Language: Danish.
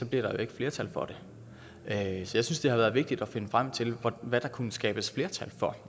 bliver der jo ikke flertal for det jeg synes at det har været vigtigt at finde frem til hvad der kunne skabes flertal for